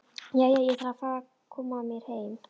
Jæja, ég þarf að fara að koma mér heim